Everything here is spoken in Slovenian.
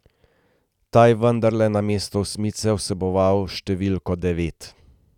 Ta je vendarle namesto osmice vseboval številko devet.